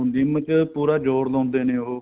GYM ਚ ਪੂਰਾ ਜੋਰ ਲਾਉਂਦੇ ਨੇ ਉਹ